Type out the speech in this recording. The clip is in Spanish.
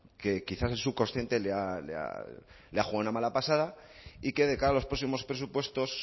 que quizás el subconsciente le ha jugado una mala pasada y que de cara a los próximos presupuestos